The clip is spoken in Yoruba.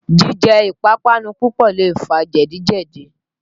Jíjẹ ìpapánu púpọ̀ lè fa jẹ̀díjẹ̀dí.